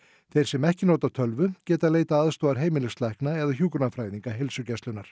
þeir sem ekki nota tölvu geta leitað aðstoðar heimilislækna eða hjúkrunarfræðinga heilsugæslunnar